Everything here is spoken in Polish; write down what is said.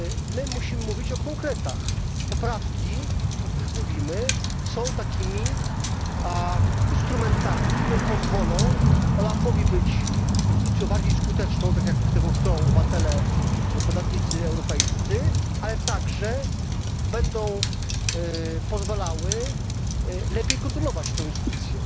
My musimy mówić o konkretach poprawki, o których mówimy, są takimi instrumentami, które pozwolą OLAF owi być instytucją bardziej skuteczną, tak jak tego chcą obywatele, podatnicy europejscy, ale także będą pozwalały lepiej kontrolować tę instytucję.